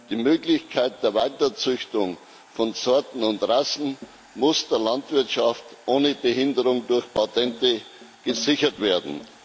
Die Möglichkeit der Weiterzüchtung von Sorten und Rassen muss der Landwirtschaft ohne Behinderung durch Patente gesichert werden.